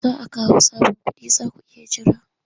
Za a kawo sabon kuɗi za ku iya jira.